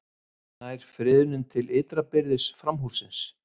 Nær friðunin til ytra byrðis framhússins